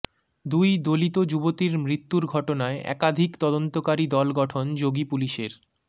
দুই দলিত যুবতীর মৃত্যুর ঘটনায় একাধিক তদন্তকারী দল গঠন যোগীপুলিশের